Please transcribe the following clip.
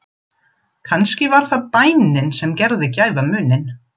Kannski var það bænin sem gerði gæfumuninn.